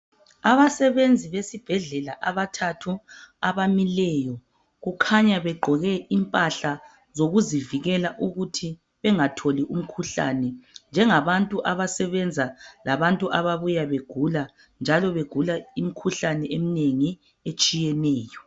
Abasebenzi besibhedlela abathathu abamileyo kukhanya begqoke impahla zokuzivikela ukuthi bengatholi umkhuhlane njengabantu abasebenza labantu ababuya begula njalo begula imikhuhlane eminengi etshiyeneyo.